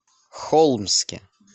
холмске